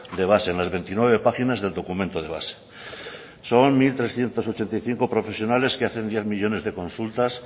de base en las veintinueve páginas del documento de base son mil trescientos ochenta y cinco profesionales que hacen diez millónes de consultas